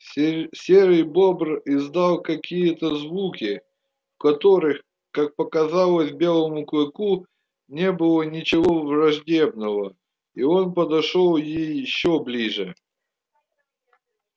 серый бобр издал какие то звуки в которых как показалось белому клыку не было ничего враждебного и он подошёл ещё ближе